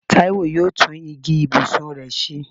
Táíwò yóò tún igi ibùsùn rẹ̀ ṣe